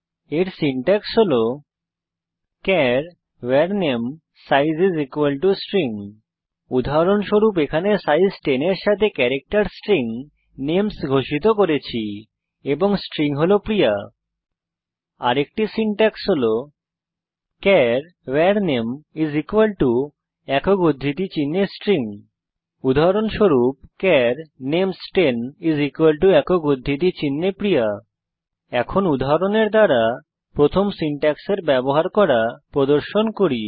এর সিনট্যাক্স হল চার var namesize স্ট্রিং উদাহরণস্বরূপ এখানে আমরা সাইজ 10 এর সাথে ক্যারাক্টের স্ট্রিং নেমস ঘোষিত করেছি এবং স্ট্রিং হল প্রিয়া আরেকটি সিনট্যাক্স হল চার var name একক উদ্ধৃতি চিনহে S T R I N g উদাহরণস্বরূপ চার names10 একক উদ্ধৃতি চিনহে P রের ই ই a এখন উদাহরণের দ্বারা প্রথম সিনট্যাক্সের ব্যবহার করা প্রদর্শন করি